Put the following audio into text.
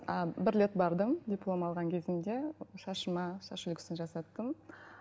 а бір рет бардым диплом алған кезімде шашыма шаш үлгісін жасаттым